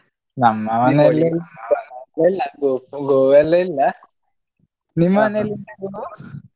ನಮ್ಮ ಮನೇಲಿ ಗೋ ಎಲ್ಲ ಇಲ್ಲ ನಿಮ್ಮ ಮನೇಲಿ ಉಂಟಾ ಗೋ?